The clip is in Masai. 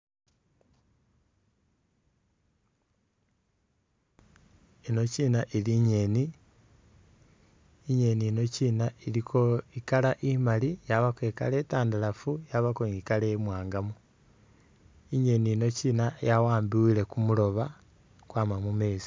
Yinokina ili i'ngeeni, i'ngeeni yinokina iliko i'colour imali, yabako i'colour itandalafu, yabako ni i'colour imwaangamu. I'ngeeni yinokina yawambibwile ku muloba kwama mu meezi.